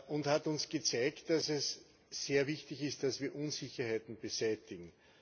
und hat uns gezeigt, dass es sehr wichtig ist, dass wir Unsicherheiten beseitigen.